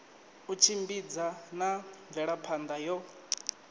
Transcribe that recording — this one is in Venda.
u tshimbidza na mvelaphana yo